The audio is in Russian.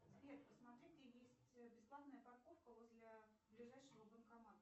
сбер посмотри где есть бесплатная парковка возле ближайшего банкомата